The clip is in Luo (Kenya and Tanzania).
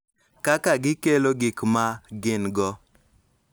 Kaka gikelo gik ma gin-go